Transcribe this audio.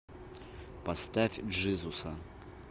поставь джизуса